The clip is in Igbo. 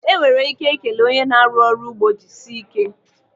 Enwere ike ikele one na-arụ ọrụ n'ugbo 'jisie ike'